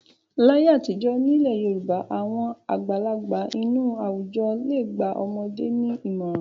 Láyé àtijọ́ nílẹ̀ Yorùbá àwọn àgbàlagbà inú àwùjọ le gba ọmọdé ní ìmọ̀ràn.